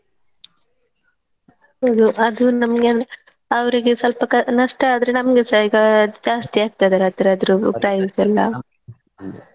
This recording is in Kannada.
ಹೌದು ಅದು ನಮ್ಗೆ ಅಂದ್ರೆ ಅವರಿಗೆ ಸ್ವಲ್ಪ ಕ~ ನಷ್ಟ ಆದ್ರೆ ನಮ್ಗೆಸ ಈಗ ಜಾಸ್ತಿ ಆಗ್ತದೆ ಅದ್ರದ್ದು price ಎಲ್ಲಾ .